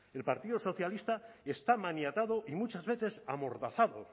el partido socialista está maniatado y muchas veces amordazado